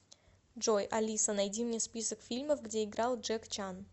джой алиса найди мне список фильмов где играл джек чан